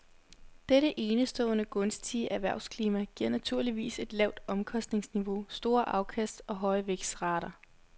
Dette enestående gunstige erhvervsklima giver naturligvis et lavt omkostningsniveau, store afkast og høje vækstrater.